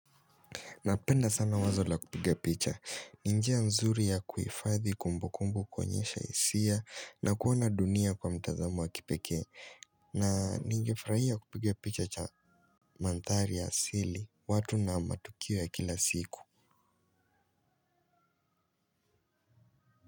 Napenda sana wazo la kupiga picha. Ni njia nzuri ya kuhifadhi kumbu kumbu kuonyesha hisia na kuona dunia kwa mtazamo wa kipekee. Na ningefurahia kupiga picha cha mandhari ya asili watu na matukio ya kila siku.